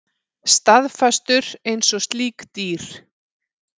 Staðfastur einsog slík dýr.